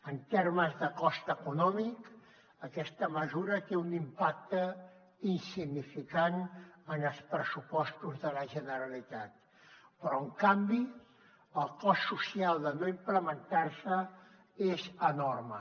en termes de cost econòmic aquesta mesura té un impacte insignificant en els pressupostos de la generalitat però en canvi el cost social de no implementar se és enorme